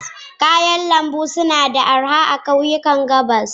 Kayan lambu suna da arha a kauyukan Gabas.